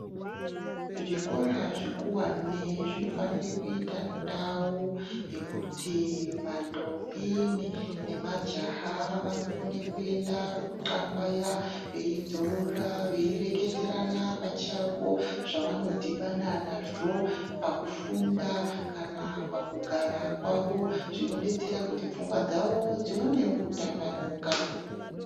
Zvikora zvikuwane zvinofanire kuyita ndau yekuti vandombi nemajaha vanokone kuyenda kunxambaya, veyi dzorora ,veyi reketerana pachavo zvavanodhibana nazvo pakufunda, kana pakugara kwavo ,zvinodetsera kuti pfungwa dzavo dzionewo kutambanuka.